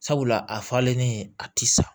Sabula a falennen a ti sa